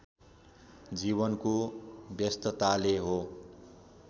जीवनको व्यस्तताले हो